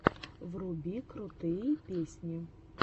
вруби крутые песни